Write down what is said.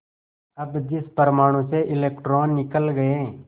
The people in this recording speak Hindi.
अब जिस परमाणु से इलेक्ट्रॉन निकल गए